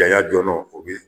dɔnɔ, o bi